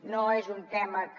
no és un tema que